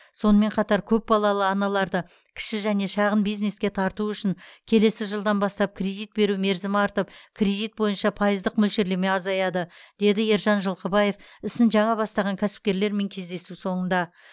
сонымен қатар көпбалалы аналарды кіші және шағын бизнеске тарту үшін келесі жылдан бастап кредит беру мерзімі артып кредит бойынша пайыздық мөлшерлеме азаяды деді ержан жылқыбаев ісін жаңа бастаған кәсіпкерлермен кездесу соңында